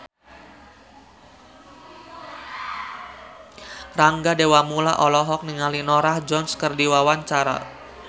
Rangga Dewamoela olohok ningali Norah Jones keur diwawancara